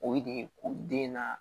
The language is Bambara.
O ye de ko den na